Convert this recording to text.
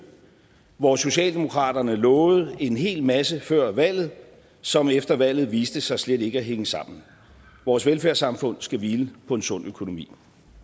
hvor socialdemokraterne lovede en hel masse før valget som efter valget viste sig slet ikke at hænge sammen vores velfærdssamfund skal hvile på en sund økonomi